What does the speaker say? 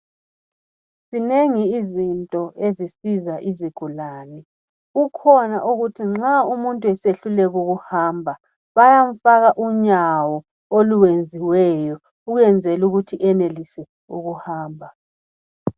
Zinengi izinto ezisiza izigulane , kukhona okuthi nxa umuntu esehluleka ukuhamba bayamfaka unyawo olwenziweyo ukwenzela ukuthi enelise ukuhamba